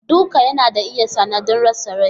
Duka yana iya sanadin rasa Rai.